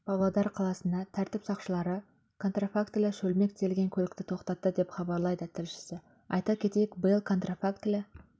павлодар қаласында тәртіп сақшылары контрафактілі шөлмек тиелген көлікті тоқтатты деп хабарлайды тілшісі айта кетейік биыл контрафактілі